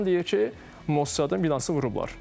İran deyir ki, Mossadın binası vurublar.